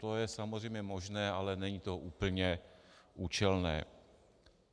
To je samozřejmě možné, ale není to úplně účelné.